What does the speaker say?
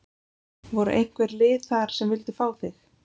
Voru einhver lið þar sem vildu fá þig?